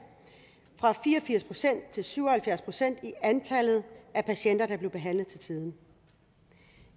fra fire og firs procent til syv og halvfjerds procent i antallet af patienter der blev behandlet til tiden